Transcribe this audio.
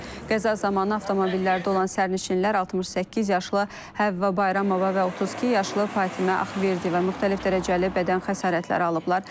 Qəza zamanı avtomobillərdə olan sərnişinlər 68 yaşlı Həvva Bayramova və 32 yaşlı Fatimə Ağverdiyeva müxtəlif dərəcəli bədən xəsarətləri alıblar.